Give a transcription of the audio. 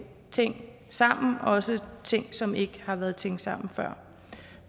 ting sammen også ting som ikke har været tænkt sammen før